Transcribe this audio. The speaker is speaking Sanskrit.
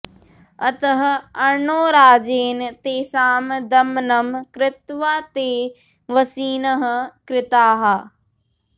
अतः अर्णोराजेन तेषां दमनं कृत्वा ते वशिनः कृताः